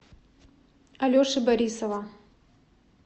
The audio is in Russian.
алеши борисова